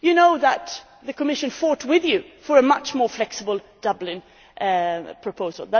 is. You know that the Commission fought with you for a much more flexible Dublin proposal.